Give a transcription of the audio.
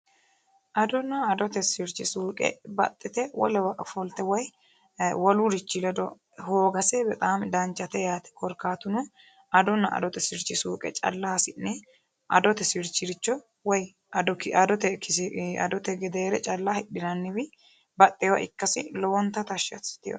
Adonna adote sirichi suqe baxxite wolewa ofolitte woy wolu richi ledo hoogase lowo geesha danichate yaate korikaatuno adonna adote sirichi suuqe calla hasi'ne adote gedeere calla hidhinanniwi baxewowa ikkssi lowonitta tashi assitewoe.